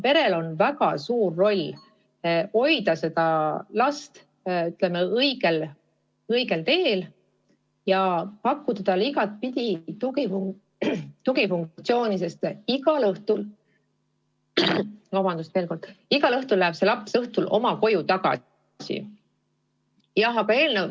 Perel on väga suur roll hoida last õigel teel ja pakkuda talle igatpidi tuge, sest igal õhtul läheb see laps oma koju tagasi.